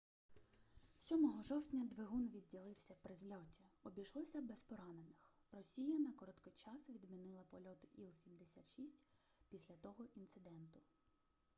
7 жовтня двигун відділився при зльоті обійшлося без поранених росія на короткий час відмінила польоти іл-76 після того інциденту